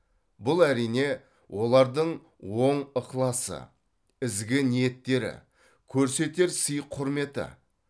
бұл әрине олардың оң ықыласы ізгі ниеттері көрсетер сый құрметі